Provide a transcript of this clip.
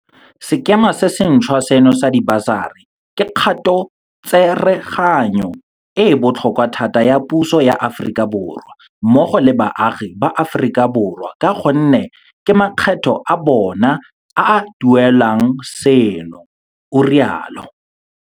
Sekema se se ntšhwa seno sa dibasari ke kgatotsereganyo e e botlhokwa thata ya puso ya Aforika Borwa, mmogo le baagi ba Aforika Borwa ka gonne ke makgetho a bona a a duelelang seno o rialo.